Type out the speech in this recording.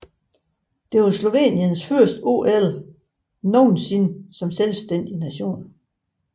Det var Sloveniens første OL nogensinde som selvstændig nation